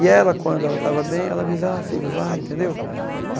E ela, quando ela estava bem, ela, ah, filho, vai, entendeu?